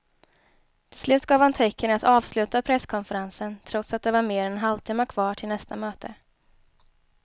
Till slut gav han tecken att avsluta presskonferensen trots att det var mer än en halvtimme kvar till nästa möte.